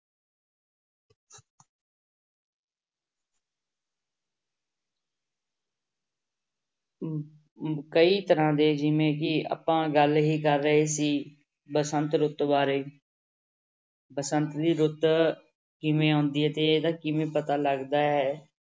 ਕਈ ਤਰ੍ਹਾਂ ਦੇ ਜਿਵੇਂ ਕਿ ਆਪਾਂ ਗੱਲ ਹੀ ਕਰ ਰਹੇ ਸੀ ਬਸੰਤ ਰੁੱਤ ਬਾਰੇ ਬਸੰਤ ਦੀ ਰੁੱਤ ਕਿਵੇਂ ਆਉਂਦੀ ਹੈ ਤੇ ਇਹਦਾ ਕਿਵੇਂ ਪਤਾ ਲੱਗਦਾ ਹੈ।